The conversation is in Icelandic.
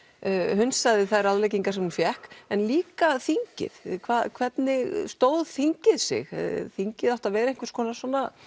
hunsaði þær ráðleggingar sem hún fékk en líka þingið hvernig stóð þingið sig þingið átti að vera einhvers konar